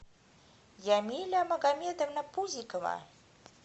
ямиля магомедовна пузикова